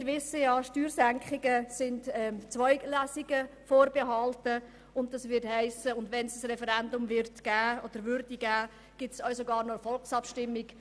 Wir wissen ja, Steuersenkungen sind Zweitlesungen unterstellt, und wenn ein Referendum zustande käme, gäbe es sogar noch eine Volksabstimmung.